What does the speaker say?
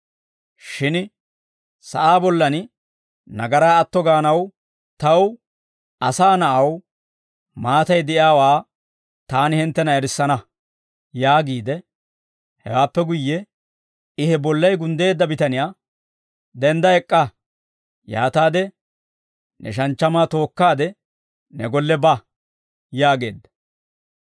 Shin sa'aa bollan nagaraa atto gaanaw taw, Asaa Na'aw, maatay de'iyaawaa taani hinttena erissana» yaagiide, hewaappe guyye I he bollay gunddeedda bitaniyaa, «Dendda ek'k'a; yaataade ne shanchchamaa tookkaade, ne golle ba» yaageedda.